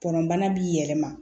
Tɔnɔbana b'i yɛlɛma